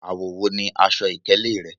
Awọ wo ni aṣọ-ìkéle rẹ?